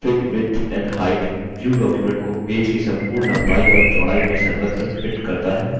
fit width and height view view document को page की संपूर्ण लम्बाई और चौड़ाई में सर्वत्र fit करता है